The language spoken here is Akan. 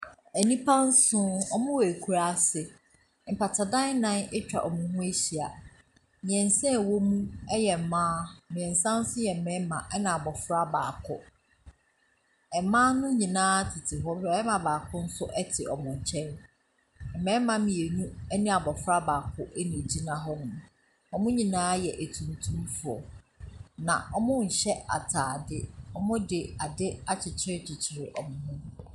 Nnipa nson, wɔwɔ ekuraase, mpatadan nnan atwa wɔn ho ahyia, mmɛnsa ɛwɔ mu yɛ mmaa, mmiɛnsa nso yɛ mmarima, na abɔfra baako. Mmaa ne nyinaa tete hɔ, barima baako tse wɔn nkyɛn. mmarima mmienu ne akwadaa baako na ɛgyina hɔnom. Wɔn nyinaa yɛ atuntumfoɔ na wɔnhyɛ ataade, wɔde ade abobɔ wɔn mu.